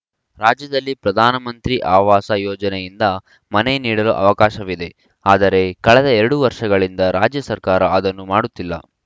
ರಾಜ್ಯದಲ್ಲಿ ಪ್ರಧಾನ ಮಂತ್ರಿ ಆವಾಸ್‌ ಯೋಜನೆಯಿಂದ ಮನೆ ನೀಡಲು ಅವಕಾಶವಿದೆ ಆದರೆ ಕಳೆದ ಎರಡು ವರ್ಷಗಳಿಂದ ರಾಜ್ಯ ಸರ್ಕಾರ ಅದನ್ನು ಮಾಡುತ್ತಿಲ್ಲ